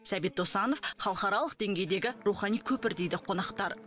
сәбит досанов халықаралық деңгейдегі рухани көпір дейді қонақтар